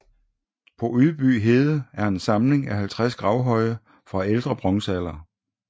På Ydby Hede er en samling af 50 gravhøje fra ældre bronzealder